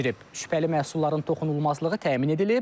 Şübhəli məhsulların toxunulmazlığı təmin edilib.